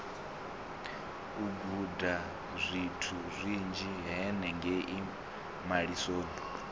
u gudazwithu zwinzhi henengei malisoni